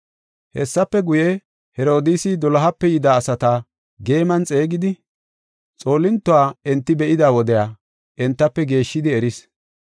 Hessafe guye, Herodiisi dolohape yida asata geeman xeegidi, xoolintuwa enti be7ida wodiya entafe geeshshidi eris.